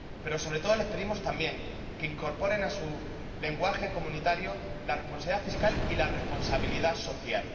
Pero, sobre todo, les pedimos, también, que incorporen a su lenguaje comunitario la responsabilidad fiscal y la responsabilidad social.